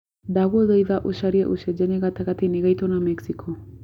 ndagũthaĩtha ũcarĩe ũcenjanĩa gatangati-inĩ ngaitũ na mexico